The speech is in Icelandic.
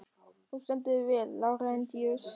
Þú stendur þig vel, Lárentíus!